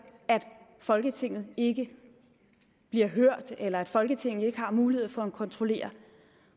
at folketinget ikke bliver hørt eller at folketinget ikke har mulighed for at kontrollere